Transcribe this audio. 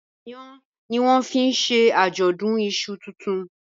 Iyán ní wón fín ṣe ajọdun iṣu tintun